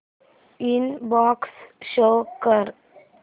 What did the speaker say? inbox show कर